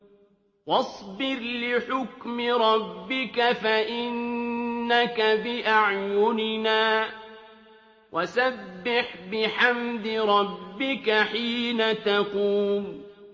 وَاصْبِرْ لِحُكْمِ رَبِّكَ فَإِنَّكَ بِأَعْيُنِنَا ۖ وَسَبِّحْ بِحَمْدِ رَبِّكَ حِينَ تَقُومُ